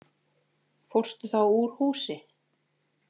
Fórstu þá úr húsi?